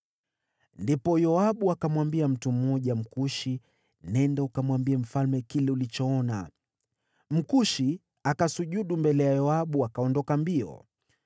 Ndipo Yoabu akamwambia mtu mmoja Mkushi, “Nenda, ukamwambie mfalme kile ulichoona.” Mkushi akasujudu mbele ya Yoabu akaondoka mbio.